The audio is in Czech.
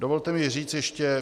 Dovolte mi říct toto.